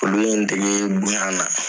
Olu ye n dege bonya na.